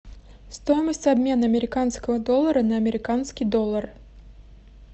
стоимость обмена американского доллара на американский доллар